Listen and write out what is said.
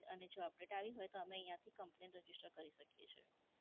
અને જો update આવી હોય તો અમે અહીયાંથી કમ્પલેન રજીસ્ટર કરી શકીએ છીએ.